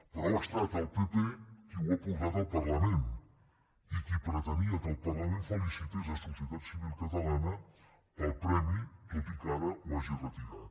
però ha estat el pp qui ho ha portat al parlament i qui pretenia que el parlament felicités societat civil catalana pel premi tot i que ara ho hagi retirat